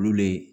Olu le